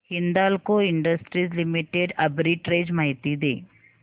Hindalco industries limited arbitrage माहिती दे